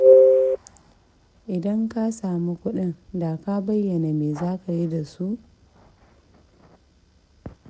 Idan ka samu kuɗin da ka bayyana me za ka yi da su?